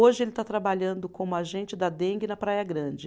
Hoje ele está trabalhando como agente da Dengue na Praia Grande.